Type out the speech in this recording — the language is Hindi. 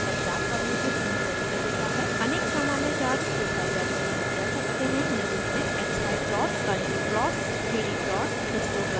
अनेक सामान्य चार्ट्स जो साइलैब में बनाये जा सकते हैं निम्न हैं: xy plots contour contour plots 3d plots histograms bar charts आदि